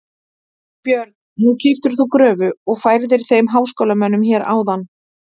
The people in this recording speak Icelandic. Björn: Nú keyptir þú gröfu og færðir þeim háskólamönnum hér áðan?